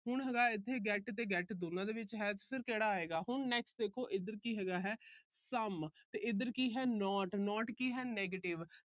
ਹੁਣ ਹੈਗਾ ਇੱਥੇ get ਤੇ get ਦੋਨਾਂ ਦੇ ਵਿੱਚ next ਹੈ ਕਿਹੜਾ ਆਏਗਾ। ਹੁਣ ਦੇਖੋ। ਇਧਰ ਕੀ ਹੈ some ਇਧਰ ਕੀ ਹੈ not not ਕੀ ਹੈ negative